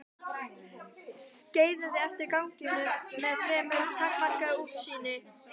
Skeiðaði eftir ganginum með fremur takmarkað útsýni.